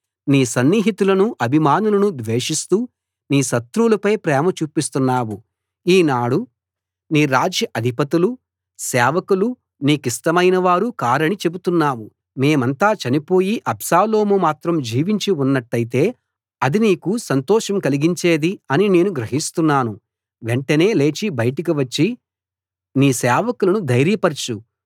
నీ సన్నిహితులను అభిమానులను ద్వేషిస్తూ నీ శత్రువులపై ప్రేమ చూపిస్తున్నావు ఈనాడు నీ రాజ్య అధిపతులు సేవకులు నీకు ఇష్టమైనవారు కారని చెబుతున్నావు మేమంతా చనిపోయి అబ్షాలోము మాత్రం జీవించి ఉన్నట్టయితే అది నీకు సంతోషం కలిగించేది అని నేను గ్రహిస్తున్నాను వెంటనే లేచి బయటికివచ్చి నీ సేవకులను ధైర్యపరచు